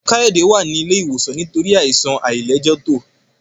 Kayode wá ní ilé ìwòsan nítorí Àìsàn àìlẹjẹtó